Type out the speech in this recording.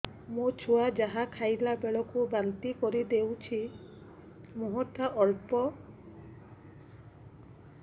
ମୋ ଛୁଆ ଯାହା ଖାଇଲା ବେଳକୁ ବାନ୍ତି କରିଦଉଛି ମୁହଁ ଟା ବହୁତ ଅମ୍ଳ ବାସୁଛି